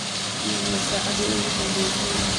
iimayl saacadii ugu danbaysay